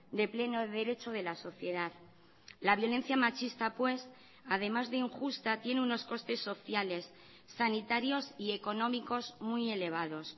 de pleno derecho de la sociedad la violencia machista pues además de injusta tiene unos costes sociales sanitarios y económicos muy elevados